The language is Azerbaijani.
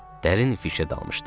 Dərin fişə dalmışdı.